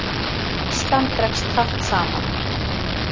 Neyslan dregst hratt saman